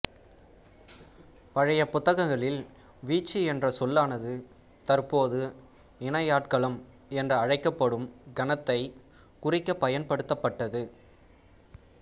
பழைய புத்தகங்களில் வீச்சு என்ற சொல்லானது தற்போது இணையாட்களம் என்று அழைக்கப்படும் கணத்தைக் குறிக்கப் பயன்படுத்தப்பட்டது